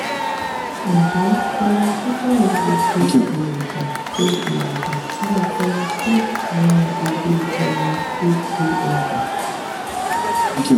nje kalarchikai le se iwosan se iwosan fun opolopo cysts inu ibu eyin ninu pcod